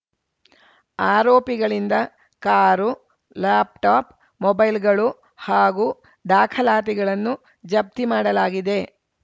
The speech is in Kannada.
ಆರೋಪಿಗಳಿಂದ ಕಾರು ಲ್ಯಾಪ್‌ಟಾಪ್‌ ಮೊಬೈಲ್‌ಗಳು ಹಾಗೂ ದಾಖಲಾತಿಗಳನ್ನು ಜಪ್ತಿ ಮಾಡಲಾಗಿದೆ